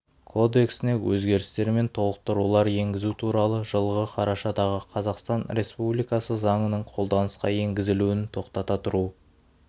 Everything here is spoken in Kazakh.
кодексіне өзгерістер мен толықтырулар енгізу туралы жылғы қарашадағы қазақстан республикасы заңының қолданысқа енгізілуін тоқтата тұру